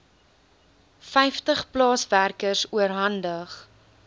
vyftig plaaswerkers oorhandig